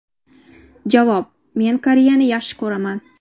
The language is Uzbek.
Javob: Men Koreyani yaxshi ko‘raman.